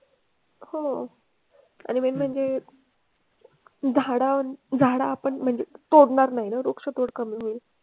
हो आणि वेगवेगळे झाडं झाडं आपण म्हणजे तोडणार नाही ना. वृक्ष तोड कमी होईल.